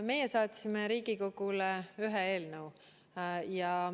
Meie saatsime Riigikogule ühe eelnõu.